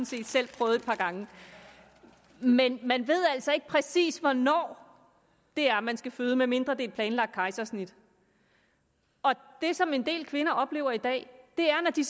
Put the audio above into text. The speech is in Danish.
set selv prøvet et par gange men man ved altså ikke præcis hvornår det er man skal føde medmindre det et planlagt kejsersnit det som en del kvinder oplever i dag er at når de